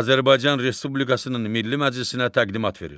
Azərbaycan Respublikasının Milli Məclisinə təqdimat verir.